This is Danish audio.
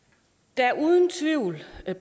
der er uden tvivl